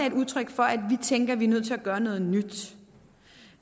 et udtryk for at vi tænker at vi er nødt til at gøre noget nyt